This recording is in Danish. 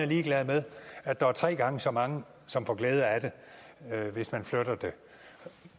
ligeglad med at der er tre gange så mange som får glæde af det hvis man flytter det